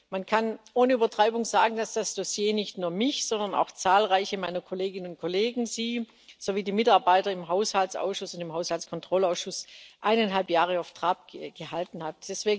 Man kann ohne Übertreibung sagen, dass das Dossier nicht nur mich, sondern auch zahlreiche meiner Kolleginnen und Kollegen, Sie sowie die Mitarbeiter im Haushaltsausschuss und im Haushaltskontrollausschuss eineinhalb Jahre auf Trab gehalten hat.